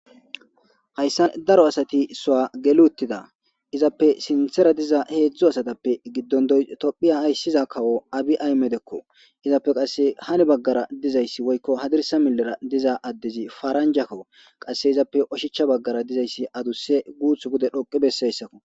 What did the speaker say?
Hayssa daro asati sua geluuttida izappe sinthera diza heedzdzu asatappe giddon doy tophiya hayssiza kawo abi ay medekko izappe qasse hani baggara dizayssi woykko hadirsa milera diza addezi faranja kawu qasse izappe oshichcha baggara dizayssi aduse guuth bude dhoqi besseyssakko.